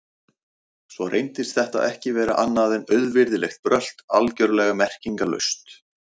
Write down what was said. Svo reyndist þetta ekki vera annað en auvirðilegt brölt, algjörlega merkingarlaust.